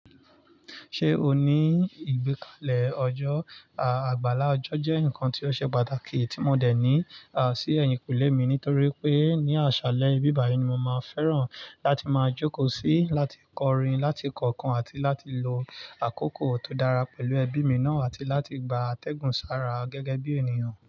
Ṣé o ní ìgbékalẹ̀ ọjọ́? Àgbàlá ọjọ́ jẹ́ nǹkan tí ó ṣe pàtàkì tí mo dẹ̀ ní, sí ẹ̀yìnkùlé mi nítorí pé ní àṣálẹ́ ibí bàyi ni mo máa fẹ́ràn láti máa jókòó sí, láti kọrin, láti kọ̀ọ̀kan àti láti lo àkókò tó dára pẹ̀lú ẹbí mi náà àti láti gba àtẹ̀gùn sára gẹ́gẹ́ bí ènìyàn.